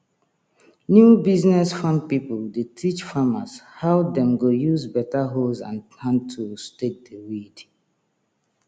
new business farm pipo dey teach farmers how dem go use better hoes and hand tools take dey weed